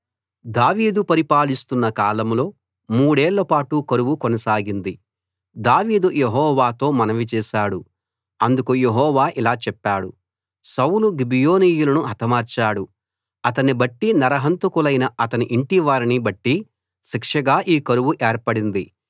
దావీదు పరిపాలిస్తున్న కాలంలో మూడేళ్ళపాటు కరువు కొనసాగింది దావీదు యెహోవాతో మనవి చేశాడు అందుకు యెహోవా ఇలా చెప్పాడు సౌలు గిబియోనీయులను హతమార్చాడు అతణ్ణి బట్టి నరహంతకులైన అతని ఇంటివారిని బట్టి శిక్షగా ఈ కరువు ఏర్పడింది